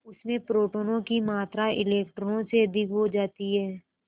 उसमें प्रोटोनों की मात्रा इलेक्ट्रॉनों से अधिक हो जाती है